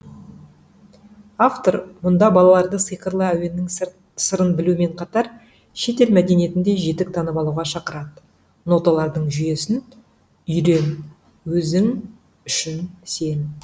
автор мұнда балаларды сиқырлы әуендердің сырын білумен қатар шетел мәдениетін де жетік танып алуға шақырады ноталардың жүйесін үйрен өзің үшін сен